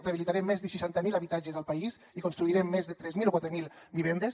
rehabilitarem més de seixanta mil habitatges al país i construirem més de tres mil o quatre mil vivendes